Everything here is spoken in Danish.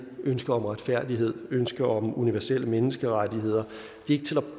ønsket om retfærdighed ønsket om universelle menneskerettigheder det